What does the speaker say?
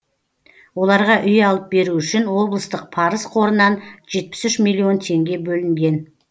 оларға үй алып беру үшін облыстық парыз қорынан жетпіс үш миллион теңге бөлінген